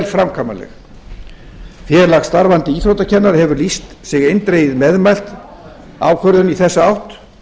framkvæmanleg félag starfandi íþróttakennara hefur lýst sig eindregið meðmælt ákvörðun í þessa átt